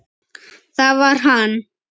Það var hann.